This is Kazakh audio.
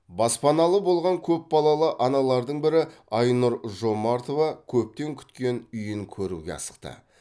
баспаналы болған көпбалалы аналардың бірі айнұр жомартова көптен күткен үйін көруге асықты